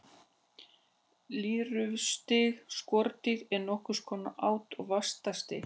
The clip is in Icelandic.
Lirfustig skordýra er nokkurs konar át- og vaxtarstig.